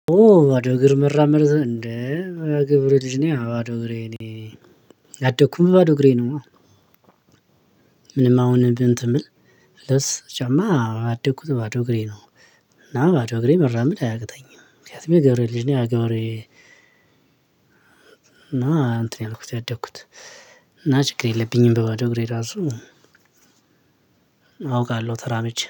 ኦ ባዶ እግር መራመር እንደ የገበሬ ልጅ ነይ ባዶ እግሬ እኔ ያደኩም ባዶ እግሬ ነው ምንም አሁን እንትን ልብስ ጫማ ያደኩት በባዶ እግሬ ነው። እና ባዶ እግሬ መራመድ አያቅተኝም። ምክንያቱም የገበሬ ልጅ ነይ ያ ገበሬ እና እንትን ነው ያደኩት እና ችግር የለብኝም በባዶ እግሬ ራሱ አውቃለሁ ተራምጄ